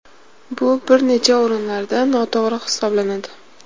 Bu bir necha o‘rinlarda noto‘g‘ri hisoblanadi.